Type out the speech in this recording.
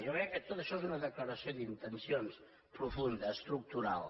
jo crec que tot això és una declaració d’intencions profunda estructural